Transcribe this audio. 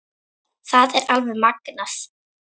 Það er alveg magnað.